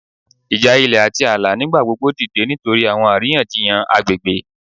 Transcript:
Ija ilẹ ati aala nigbagbogbo dide nitori awọn ariyanjiyan agbegbe